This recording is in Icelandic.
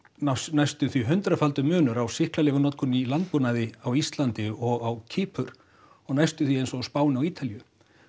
næstum því hundraðfaldur munur á sýklalyfjanotkun í landbúnaði á Íslandi og á Kýpur og næstum því eins á Spáni og Ítalíu